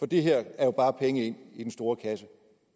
det her er jo bare penge ind i den store kasse